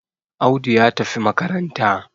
Audu ya tafi makaranta